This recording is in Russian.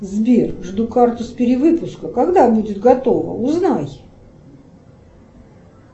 сбер жду карту с перевыпуска когда будет готова узнай